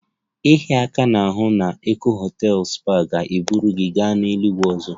Ịhịa aka n'ahụ na Eko hotels spa ga-eburu gị gaa eluigwe ọzọ